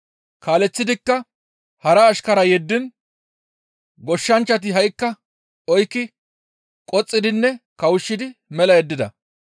Kaaleththidikka hara ashkara yeddiin goshshanchchati ha7ikka oykki qoxxidinne kawushshidi mela yeddida.